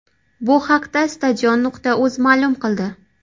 Bu haqda Stadion.uz ma’lum qildi .